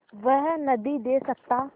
वह नदीं दे सकता